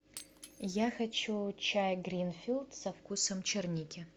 я хочу чай гринфилд со вкусом черники